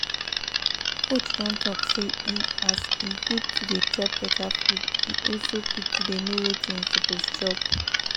coach don talk say e as e good to dey chop better food e also good to dey know wetin you suppose chop